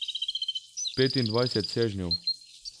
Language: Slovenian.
Petindvajset sežnjev.